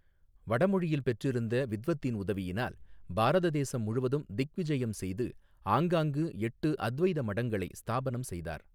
வடமொழியில் பெற்றிருந்த வித்வத்தின் உதவியினால் பாரத தேசம் முழுவதும் திக்விஜயம் செய்து ஆங்காங்கு எட்டு அத்வைத மடங்களை ஸ்தாபனம் செய்தார்.